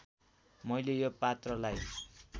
मैले यो पात्रलाई